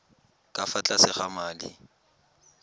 ka fa tlase ga madi